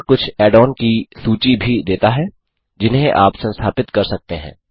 यह कुछ add on की सूची भी देता है जिन्हें आप संस्थापित कर सकते हैं